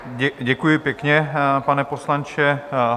Děkuji pěkně, pane poslanče.